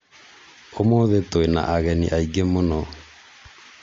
ũmũthĩ twĩna ageni aingĩ mũno